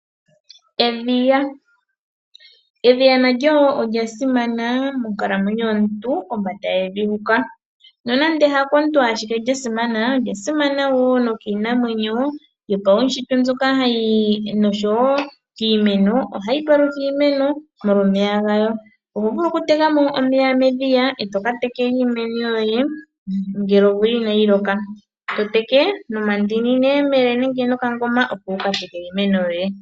Edhiya, edhiya nalyo olya simana monkalamwenyo yomuntu kombanda yevi huka. Nonande ha komuntu ashike lya simana, olya simana woo no kiinamwenyo yopawushitwe, nosho woo kiimeno kiimeno. Oha li palutha iimeno molwa omeya galyo. Oho vulu oku teka mo omeya medhiya e to ka tekela iimeno yoye ngele omvula ina yi loka. To teke nomandini neyemele nenge nokangoma opo wu ka tekele iimeno yoye.